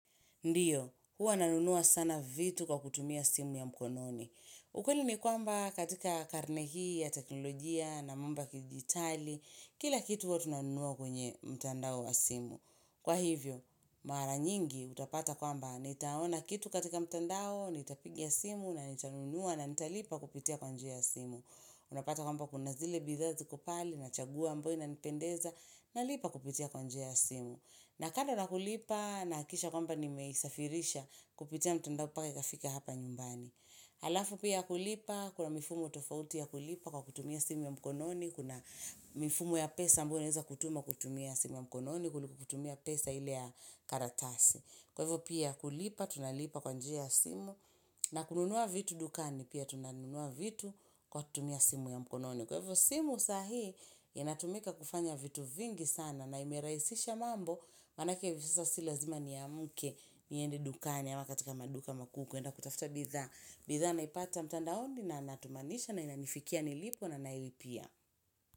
Ndiyo, huwa nanunua sana vitu kwa kutumia simu ya mkononi. Ukweli ni kwamba katika karne hii ya teknolojia na mambo kidijitali, kila kitu huwa tunanunua kwenye mtandao wa simu. Kwa hivyo, mara nyingi utapata kwamba, nitaona kitu katika mtandao, nitapigia simu na nitanunua na nitalipa kupitia kwa njia ya simu. Unapata kwamba kuna zile bidhaa ziko pale nachagua amboyo inanipendeza. Nalipa kupitia kwa njia ya simu. Na kando nakulipa, nahakisha kwamba n meisafirisha kupitia mtendao mpaka ikafika hapa nyumbani. Halafu pia kulipa, kuna mifumo tofauti ya kulipa kwa kutumia simu ya mkononi, kuna mifumo ya pesa ambayo unaeza kutuma kutumia simu ya mkononi, kuliko kutumia pesa ile ya karatasi. Kwa hivyo pia kulipa, tunalipa kwa njia ya simu. Na kununua vitu dukani pia tunanunua vitu kwa kutumia simu ya mkononi. Kwa hivyo simu saa hii, inatumika kufanya vitu vingi sana na imerahisisha mambo, Manake si lazima niamuke niendi dukani ama katika maduka makuu kwenda kutafuta bidhaa. Bidhaa naipata mtandaoni na natumanisha na inanifikia nilipo na nailipia.